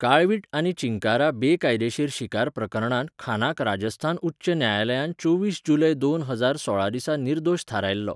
काळवीट आनी चिंकारा बेकायदेशीर शिकार प्रकरणांत खानाक राजस्थान उच्च न्यायालयान चोवीस जुलय दोन हजार सोळा दिसा निर्दोश थारायल्लो.